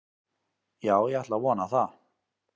Já ég ætla að vona það.